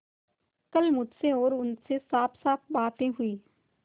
कल मुझसे और उनसे साफसाफ बातें हुई